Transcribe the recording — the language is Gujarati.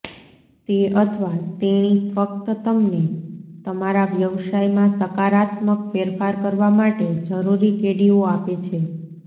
તે અથવા તેણી ફક્ત તમને તમારા વ્યવસાયમાં સકારાત્મક ફેરફાર કરવા માટે જરૂરી કડીઓ આપે છે